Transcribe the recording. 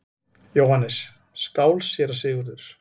JÓHANNES: Skál, séra Sigurður!